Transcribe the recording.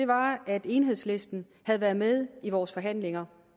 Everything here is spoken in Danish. var at enhedslisten havde været med i vores forhandlinger